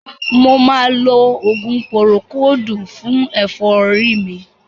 Mo ma lo òògùn púrókòòdù fún ẹ̀fọ́ rí mi.